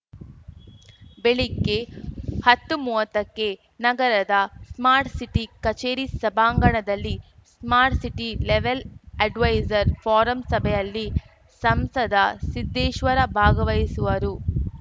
ಬೆಳಿಗ್ಗೆ ಹತ್ತು ಮೂವತ್ತಕ್ಕೆ ನಗರದ ಸ್ಮಾರ್ಟ್‌ ಸಿಟಿ ಕಚೇರಿ ಸಭಾಂಗಣದಲ್ಲಿ smart city level advisor forum ಸಭೆಯಲ್ಲಿ ಸಂಸದ ಸಿದ್ದೇಶ್ವರ ಭಾಗವಹಿಸುವರು